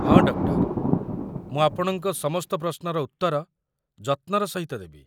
ହଁ, ଡକ୍ଟର! ମୁଁ ଆପଣଙ୍କ ସମସ୍ତ ପ୍ରଶ୍ନର ଉତ୍ତର ଯତ୍ନର ସହିତ ଦେବି।